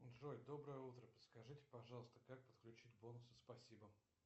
джой доброе утро подскажите пожалуйста как подключить бонусы спасибо